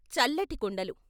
చల్లటి కుండలు....